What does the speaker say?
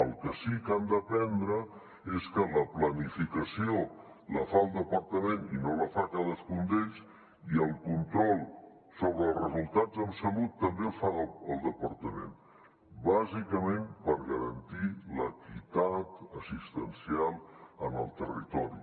el que sí que han d’aprendre és que la planificació la fa el departament i no la fa cadascun d’ells i el control sobre els resultats en salut també el fa el departament bàsicament per garantir l’equitat assistencial en el territori